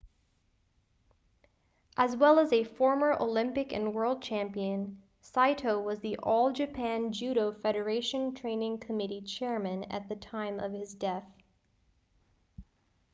as well as a former olympic and world champion saito was the all japan judo federation training committee chairman at the time of his death